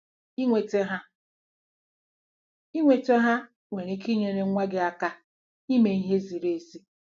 Inweta ha Inweta ha nwere ike inyere nwa gị aka ime ihe ziri ezi.